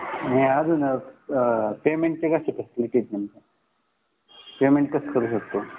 आणि अजून पेमेंटची काय सिस्टीम आहे पेमेंट कशी करू शकतो